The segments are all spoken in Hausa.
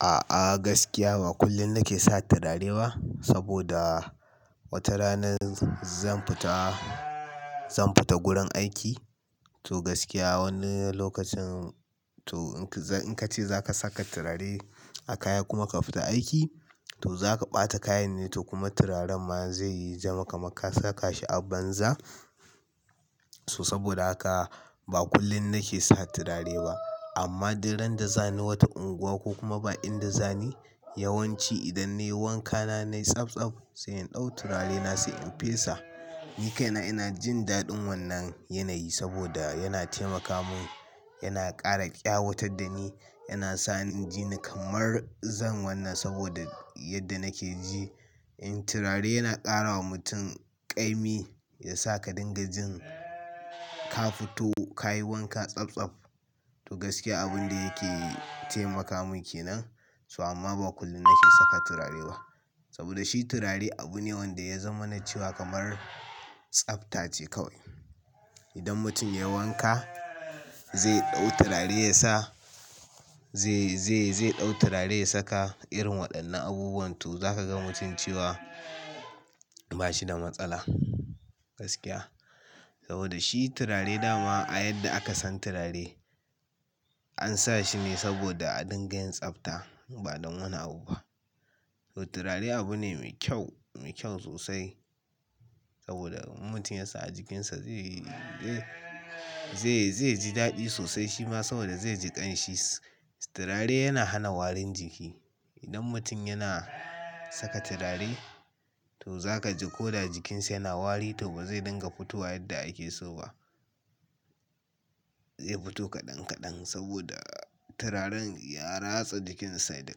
A'a gaskiya ba kullum nake sa turare ba saboda wata rana zan fita, zan fita gurin aiki to gaskiya wani lokacin to in ka ce za ka saka turare a kaya kuma ka fita aiki to za ka ɓata kayan ne, to kuma turaren ma zai yi zama ka mar ka saka shi a banza. To saboda haka ba kullum nake sa turare ba amma idan da zani wata unguwa ko kuma ba inda zani yawanci idan ne wanka na nai tsabtsaf sai in ɗau turare na sai in fesa. Ni kai na ina jin daɗin wannan yanayi saboda yana taimaka mun, yana ƙara ƙyawatar da ni, yana sa ni ji ni kamar zan wannan saboda yadda nake ji. In turare yana ƙara wa mutum ƙa'imi ya saka dingajin ka fito ka yi wanka tsabtsaf to gaskiya abin da yake taimaka mun ke nan. To amma ba kullum nake saka turare ba saboda shi turare abu ne wanda ya zama na cewa kamar tsafta ce kawai. Idan mutum ya wanka zai ɗau turare ya sa, zai, zai, zai ɗau turare ya saka irin waɗannan abubuwan to za ka ga mutum cewa ba shi da matsala gaskiya. Saboda shi turare dama a yadda aka san turare an sa shi ne saboda a dinga yin tsafta ba don wani abu ba. To turare abu ne mai kyau, mai kyau sosai saboda mutum ya sa a jikinsa zai, zai, zai ji daɗi sosai shi ma saboda zai ji ƙanshi. Turare yana hana warin jiki. Idan mutum yana saka turare to za ka ji ko da jikinsa yana wari to ba zai dinga fitowa yadda ake so ba. Zai fito kaɗan kaɗan saboda turaren ya ratsa jikinsa da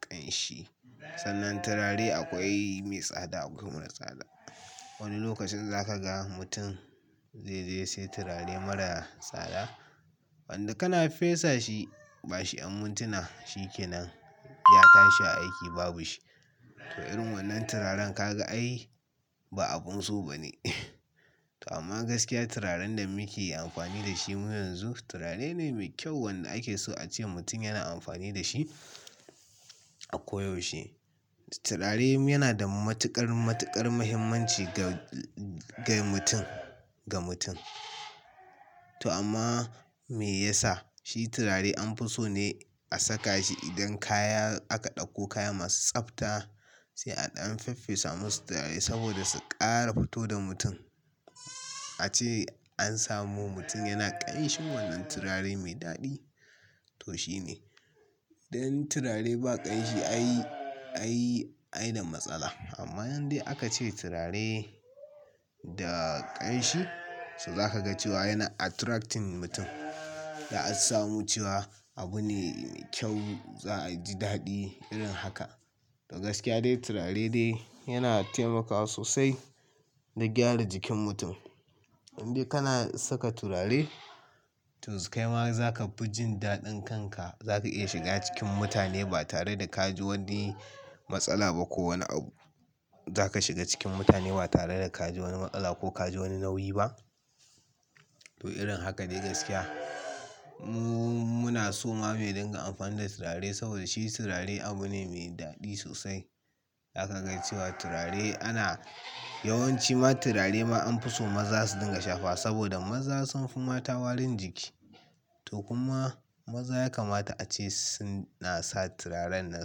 ƙanshi. Sannan turare akwai mai tsada akwai marar tsada. Wani lokacin za ka ga mutum zai je sai turare marar tsada wanda kana fesa shi ba shi mintuna shi ke nan. Ya tashi aiki babu shi. To irin wannan turaren ka ga ai ba abun so ba ne. To amma gaskiya turaren da muke amfani da shi mu yanzu turare ne mai kyau wanda ake so a ce mutum yana amfani da shi a koyaushe. Turare yana da matuƙar, matuƙar muhimmanci ga, ga mutum, ga mutum. To amma me yasa? Shi turare an fi so ne a saka shi idan kaya aka ɗauko kaya masu tsafta sai a ɗan faffesa masu turare saboda su ƙara fito da mutum. A ce an samu mutum yana ƙanshi wannan turare mai daɗi to shi ne. Idan turare ba ƙanshi ai, ai, ai da matsala. Amma yanzu dai aka ce turare da ƙanshi to za ka ga cewa yana attracting mutum. Da an samu cewa abu ne mai kyau za a ji daɗi irin haka. To gaskiya dai turare dai yana taimakawa sosai da gyara jikin mutum. Idan dai kana saka turare to kai ma za ka fi jin daɗin kanka. Za ka iya shiga cikin mutane ba tare da ka ji wani matsala ba ko wani abu. Za ka shiga cikin mutane ba tare da ka ji wani matsala ko ka ji wani nauyi ba. To irin haka dai gaskiya mu, muna so ma mu dinga amfani da turare saboda shi turare abu ne mai daɗi sosai. Za ka ga cewa turare ana yawanci ma turare ma an fi so maza su dinga shafa saboda maza sun fi mata warin jiki. To kuma maza ya kamata a ce suna sa turaren nan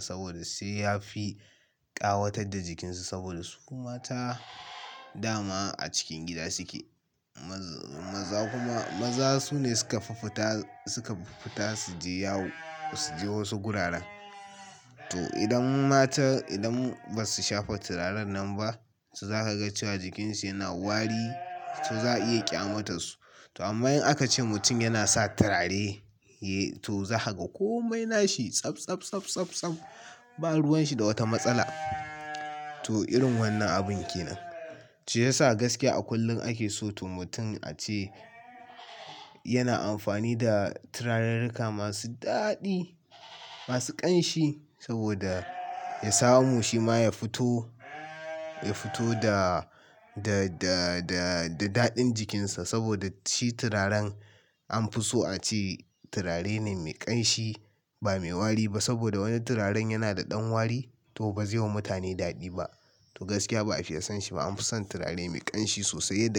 saboda sai ya fi ƙawatar da jikinsu saboda su kuma mata dama a cikin gida suke. Maza kuma, maza su ne suka fi fita, suka fi fita su je yawo su je wasu guraren. To idan mata idan ba su shafa turaren nan ba to za ka ga cewa jikinsu yana wari, to za a iya ƙyamatarsu. To amma in aka ce mutum yana sa turare eh to za ka ga kome nashi tsabtsab, tsabtsab, tsab ba ruwan shi da wata matsala. To irin wannan abun ke nan. To shiyasa gaskiya a kullum ake so to mutum a ce yana amfani da turaren ruka masu daɗi, masu ƙanshi saboda ya samu shi ma ya fito, ya fito da, da, da, da, da daɗin jikinsa saboda shi turaren an fi so a ce turare ne mai ƙanshi ba mai wari ba saboda wani turaren yana da ɗan wari to ba zai wa mutane daɗi ba. To gaskiya ba a fi iya son shi ba an fi son turare mai ƙanshi sosai da.